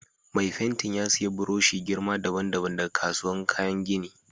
Mai fentin ya siya buroshi girma dabban-dabban daga kasuwan kayan gini.